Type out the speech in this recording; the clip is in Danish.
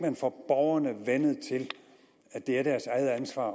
får borgerne vænnet til at det er deres eget ansvar at